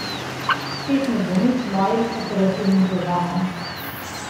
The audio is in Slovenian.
Spet ne bo nič z mojim operativnim programom!